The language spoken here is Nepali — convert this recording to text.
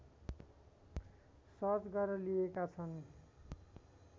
सर्च गरेर लिइएका छन्